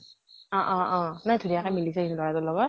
অ অ অ । ইমান ধুনিয়াকে মিলিছে সেই লʼৰাটোৰ লগত।